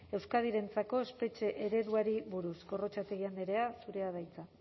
euskadirentzako espetxe ereduari buruz gorrotxategi andrea zurea da hitza